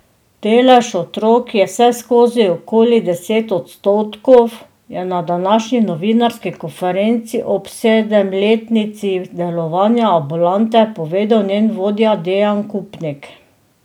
Delež otrok je vseskozi okoli deset odstotkov, je na današnji novinarski konferenci ob sedemletnici delovanja ambulante povedal njen vodja Dejan Kupnik.